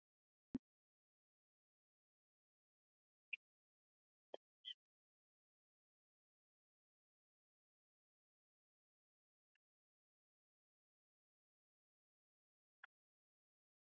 Jósef, lækkaðu í hátalaranum.